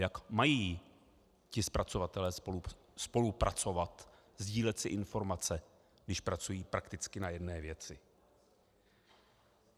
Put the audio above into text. Jak mají ti zpracovatelé spolupracovat, sdílet si informace, když pracují prakticky na jedné věci?